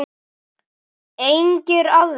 Engir aðrir? spurði Óli.